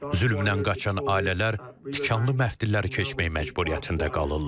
Zülmdən qaçan ailələr tikanlı məftilləri keçmək məcburiyyətində qalırlar.